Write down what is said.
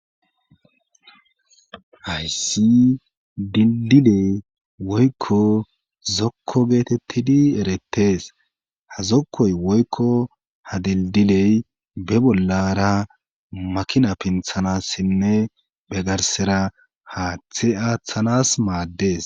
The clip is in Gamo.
hayssi didile woykko zokko geetettidi erettes ha zokkoy woykko ha dildiley be bollara makina pinthanassinne be garsera haaththe aaththanas maaddes